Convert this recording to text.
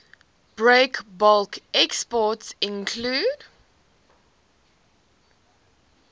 breakbulk exports include